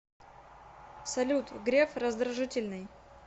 салют греф раздражительный